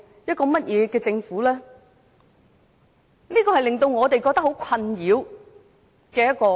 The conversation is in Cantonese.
這樣的中國情景令我們覺得很困擾。